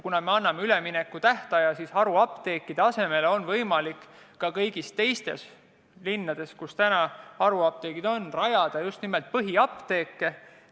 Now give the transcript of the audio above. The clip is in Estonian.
Kuna me anname üleminekutähtaja, siis on haruapteekide asemele võimalik ka kõigis teistes linnades, kus täna on haruapteegid, rajada just nimelt põhiapteegid.